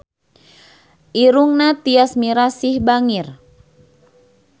Irungna Tyas Mirasih bangir